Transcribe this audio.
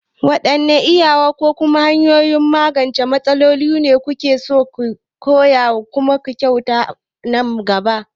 Waɗanne iyawa ko kuma hanyoyin magance matsaloli ne kake so ka koya ko kuma ka kyautata a nan gaba?